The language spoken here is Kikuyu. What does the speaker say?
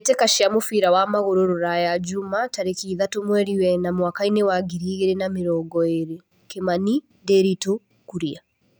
Mbĩ tĩ ka cia mũbira wa magũrũ Ruraya Jumaa tarĩ ki ithatũ mweri wena mwakainĩ wa ngiri igĩ rĩ na mĩ rongo ĩ rĩ Kimani, Ndiritu, Kuria.